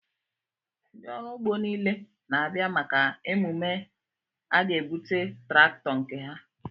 Ndị ọrụ ugbo niile na-abịa maka emume a ga-ebute traktọ nke ha